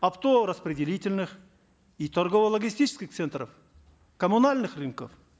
оптово распределительных и торгово логистических центров коммунальных рынков